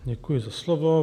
Děkuji za slovo.